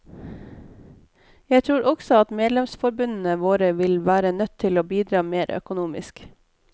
Jeg tror også at medlemsforbundene våre vil være nødt til å bidra mer økonomisk.